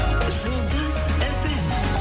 жұлдыз фм